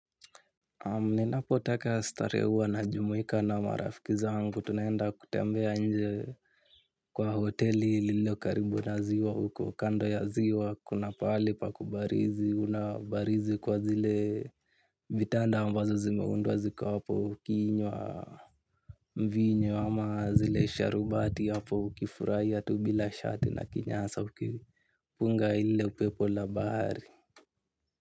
Ninapo taka starehe huwa na jumuika na marafiki zangu, tunaenda kutembea nje kwa hoteli lililo karibu na ziwa huko kando ya ziwa, kuna pahali pa kubarizi, unabarizi kwa zile vitanda ambazo zimeunduwa ziko hapo ukiinywa mvinyo ama zile sharubati hapo ukifurahia tu bila shati na kinyasa ukipunga ile upepo la bahari.